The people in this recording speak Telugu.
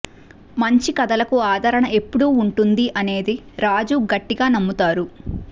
మంచి కథలకు ఆదరణ ఎప్పుడూ ఉంటుంది అనేది రాజు గట్టిగా నమ్ముతారు